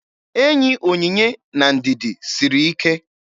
Enyi Onyinye na Ndidi siri ike.